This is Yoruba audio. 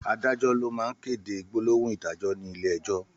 Àdájò ló má n kédé gbólóhún idàjó ni ilé èjò